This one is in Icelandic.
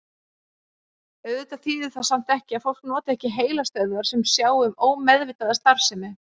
Auðvitað þýðir það samt ekki að fólk noti ekki heilastöðvar sem sjá um ómeðvitaða starfsemi.